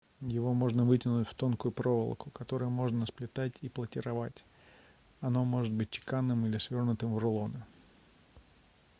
его можно вытянуть в тонкую проволоку которую можно сплетать и платировать оно может быть чеканным или свернутым в рулоны